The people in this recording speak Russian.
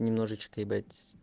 немножечко ебать